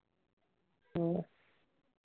ਹੋਰ